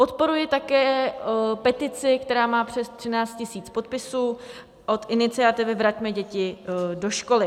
Podporuji také petici, která má přes 13 000 podpisů, od iniciativy Vraťme děti do školy.